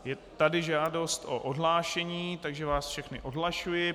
Je tady žádost o odhlášení, takže vás všechny odhlašuji.